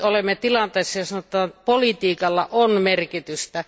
Nyt olemme tilanteessa, jossa politiikalla on merkitystä.